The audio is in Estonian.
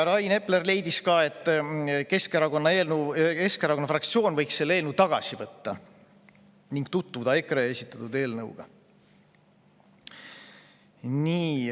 Rain Epler leidis ka, et Keskerakonna fraktsioon võiks selle eelnõu tagasi võtta ning tutvuda EKRE esitatud eelnõuga.